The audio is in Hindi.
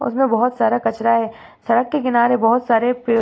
उसमें बहोत सारा कचरा है। सड़क के किनारे बहोत सारे पेड़ --